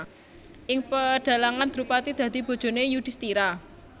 Ing pedhalangan Drupadi dadi bojone Yudhistira